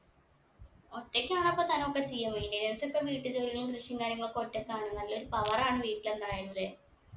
ഒറ്റക്കാണോ അപ്പൊ തനൊക്കെ ചെയ്യും വേണ്ടെ നേരത്തൊക്കെ വീട്ടുജോലികളും കൃഷിയും കാര്യങ്ങളൊക്കെ ഒറ്റകാണ്ന്നല്ലേ ഒരു power ആണ് വീട്ടില് എന്തായാലു അല്ലെ